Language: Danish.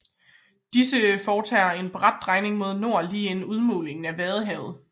Disse foretager en brat drejning mod nord lige inden udmundingen i Vadehavet